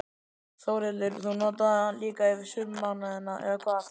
Þórhildur: Þú notar það líka yfir sumarmánuðina, eða hvað?